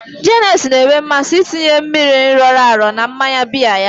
Janet na-enwe mmasị ịtinye mmiri oroma na mmanya biya ya.